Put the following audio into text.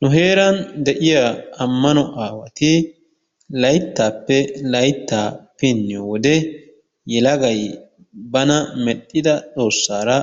Nu heeran de'iya ammano aawati layttaappe layttaa pinniyo wode yelagay bana mexxida xoossaara